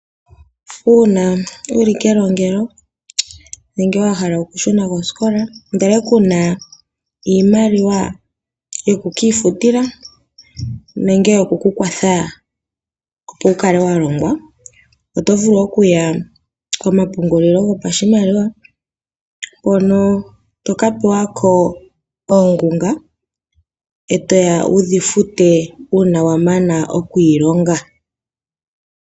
Una wuli kenongelo nenge wa hala oku shuna koosikola ndele kuna iimaliwa yoku kiifutila nenge yoku kukwatha opo wu kale wa longwa. Oto vulu oku ya komapungulilo gopashimaliwa hono toka pewa ko oongunga etoya wudhi fute una wa mana oku iilonga.